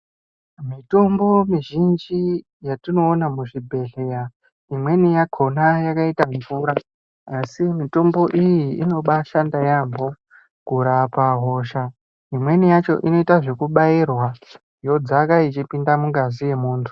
Mitombo mizhinji yatinoona muzvibhehleya imweni yakona yakaita mvura asi mitombo iyi inobashanda yambo kurapa hosha imweni yakocha inoitwa zvekumbairwa yodzaka yeipinda mungazi yemuntu.